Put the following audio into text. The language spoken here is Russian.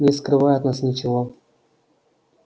не скрывай от нас ничего